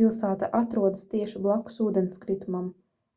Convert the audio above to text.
pilsēta atrodas tieši blakus ūdenskritumam